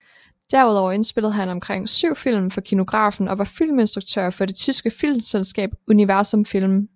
Derudover indspillede han omkring syv film for Kinografen og var filminstruktør for det tyske filmselskab Universum Film